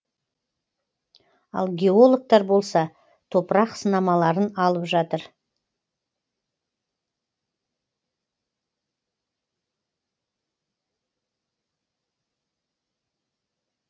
ал геологтар болса топырақ сынамаларын алып жатыр